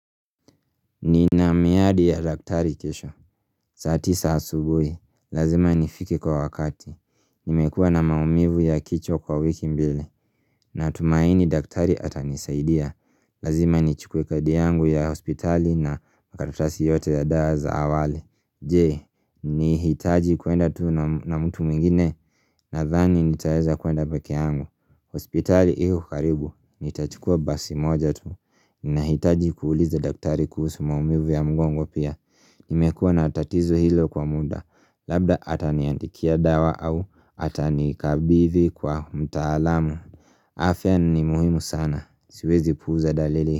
Nina miadi ya daktari kesho saa tisa asubuhi Lazima nifike kwa wakati Nimekua na maumivu ya kichwa kwa wiki mbili Natumaini daktari atanisaidia Lazima nichukue kadi yangu ya hospitali na makaratasi yote ya dawa za awali Jee, ni hitaji kuenda tu na mtu mwingine Nadhani nitaeza kuenda pekee yangu hospitali iko karibu Nitachukua basi moja tu Ninahitaji kuuliza daktari kuhusu maumivu ya mgongo pia Nimekuwa na tatizo hilo kwa muda Labda ataniandikia dawa au atanikabidhi kwa mtaalamu afya ni muhimu sana, siwezi puuza dalili.